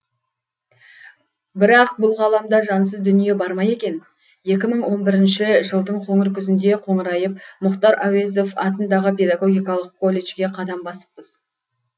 бірақ бұл ғаламда жансыз дүние бар ма екен екі мың он бірінші жылдың қоңыр күзінде қоңырайып мұхтар әуезов атындағы педагогикалық колледжге қадам басыппыз